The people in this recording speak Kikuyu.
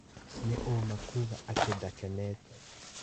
Nĩ ũũma kuga atĩ ndakenete.